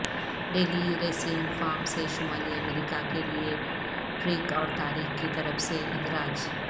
daily Racing Form سے شمالی امریکہ کے لئے ٹریک اور تاریخ کی طرف سے اندراج